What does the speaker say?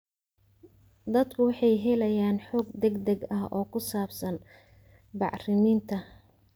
Dadku waxay helayaan xog degdeg ah oo ku saabsan bacriminta.